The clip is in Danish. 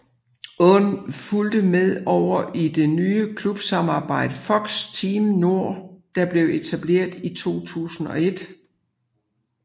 Aaen fulgte med over i det nye klubsamarbejde FOX Team Nord der blev etableret i 2001